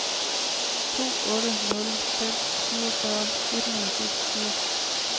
to otte nul fem syvogfyrre et hundrede og seksogfirs